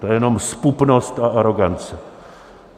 To je jenom zpupnost a arogance!